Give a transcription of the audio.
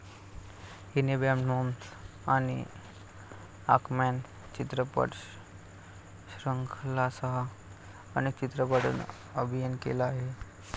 हिने bad moms आणि anchorman चित्रपटश्रृंखलांसह अनेक चित्रपटांतून अभिनय केला आहे.